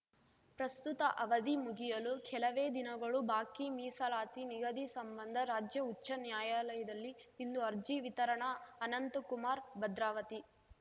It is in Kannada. ಪ್ರಸ್ತುತ ಅವಧಿ ಮುಗಿಯಲು ಕೆಲವೇ ದಿನಗಳು ಬಾಕಿ ಮೀಸಲಾತಿ ನಿಗದಿ ಸಂಬಂಧ ರಾಜ್ಯ ಉಚ್ಛ ನ್ಯಾಯಾಲಯದಲ್ಲಿ ಇಂದು ಅರ್ಜಿ ವಿತರಣ ಅನಂತಕುಮಾರ್‌ ಭದ್ರಾವತಿ